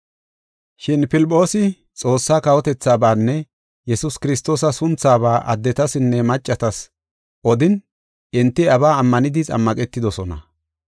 Shin Filphoosi Xoossaa kawotethabanne Yesuus Kiristoosa sunthaba addetasinne maccatas odin, enti iyabaa ammanidi xammaqetidosona.